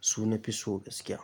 su na fi so gaskiya.